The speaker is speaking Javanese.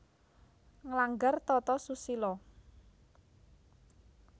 Nglanggar tata susila